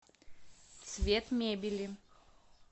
цвет мебели